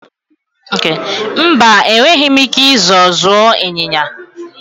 Mba, enweghị m ike ịzọọ zụọ ịnyịnya.